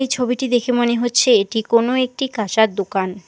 এই ছবিটি দেখে মনে হচ্ছে এটি কোন একটি কাঁসার দোকান।